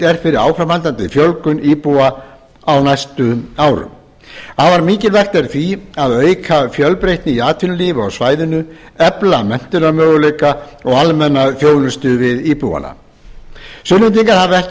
er fyrir áframhaldandi fjölgun íbúa á næstu árum afar mikilvægt er því að auka fjölbreytni í atvinnulífi á svæðinu efla menntunarmöguleika og almenna þjónustu við íbúana sunnlendingar hafa ekki